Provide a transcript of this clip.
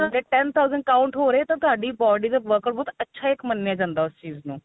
ਤੁਹਾਡੇ ten thousand count ਹੋ ਰਹੇ ਏ ਤਾਂ ਤੁਹਾਡੀ body ਦਾ workout ਬਹੁਤ ਅੱਛਾ ਇੱਕ ਮੰਨਿਆ ਜਾਂਦਾ ਉਸ ਚੀਜ ਨੂੰ